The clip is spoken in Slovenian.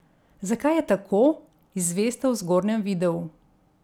Zakaj je tako, izveste v zgornjem videu.